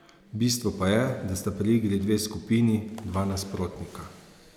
Bistvo pa je, da sta pri igri dve skupini, dva nasprotnika.